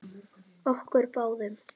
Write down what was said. Okkur báðum.